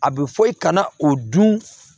A bɛ fɔ i kana o dun